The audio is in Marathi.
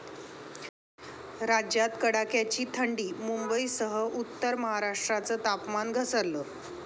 राज्यात कडाक्याची थंडी, मुंबईसह उत्तर महाराष्ट्राचं तापमान घसरलं